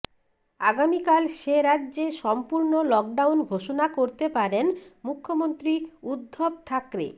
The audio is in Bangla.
আগামীকাল সে রাজ্যে সম্পূর্ণ লকডাউন ঘোষণা করতে পারেন মুখ্যমন্ত্রী উদ্ধব ঠাকরে